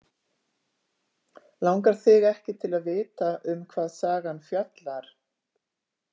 Langar þig ekki til að vita um hvað sagan fjallar?